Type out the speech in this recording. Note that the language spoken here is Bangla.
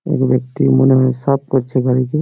এবং একটি মনে হয় সাফ করছে গাড়ি কে।